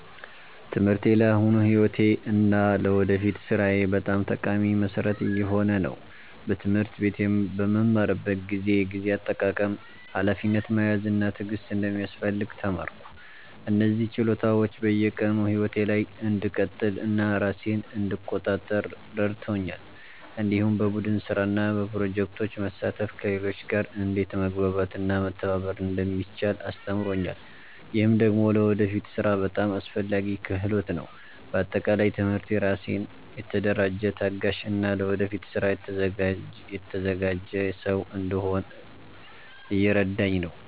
ትምህርቴ ለአሁኑ ሕይወቴ እና ለወደፊት ሥራዬ በጣም ጠቃሚ መሠረት እየሆነ ነው። በትምህርት ቤት በምማርበት ጊዜ የጊዜ አጠቃቀም፣ ሀላፊነት መያዝ እና ትዕግስት እንደሚያስፈልግ ተማርኩ። እነዚህ ችሎታዎች በየቀኑ ሕይወቴ ላይ እንድቀጥል እና ራሴን እንድቆጣጠር ረድተውኛል። እንዲሁም በቡድን ስራ እና በፕሮጀክቶች መሳተፍ ከሌሎች ጋር እንዴት መግባባት እና መተባበር እንደሚቻል አስተምሮኛል። ይህ ደግሞ ለወደፊት ሥራ በጣም አስፈላጊ ክህሎት ነው። በአጠቃላይ ትምህርቴ ራሴን የተደራጀ፣ ታጋሽ እና ለወደፊት ስራ የተዘጋጀ ሰው እንድሆን እየረዳኝ ነው።